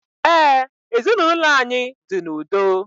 Ee, ezinaụlọ anyị dị n'udo